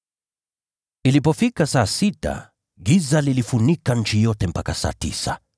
Ilipofika saa sita, giza liliifunika nchi yote hadi saa tisa.